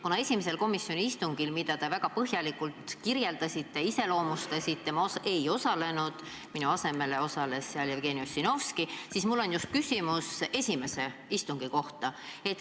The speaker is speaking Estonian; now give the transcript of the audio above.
Kuna esimesel komisjoni istungil, mida te väga põhjalikult kirjeldasite, ma ei osalenud, minu asemel osales seal Jevgeni Ossinovski, siis mul on just küsimus esimese istungi kohta.